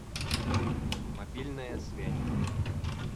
мобильная связь